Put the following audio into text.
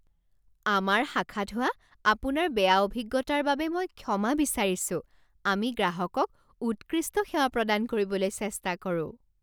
আমাৰ শাখাত হোৱা আপোনাৰ বেয়া অভিজ্ঞতাৰ বাবে মই ক্ষমা বিচাৰিছোঁ। আমি গ্ৰাহকক উৎকৃষ্ট সেৱা প্ৰদান কৰিবলৈ চেষ্টা কৰোঁ৷